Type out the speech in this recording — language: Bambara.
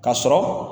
Ka sɔrɔ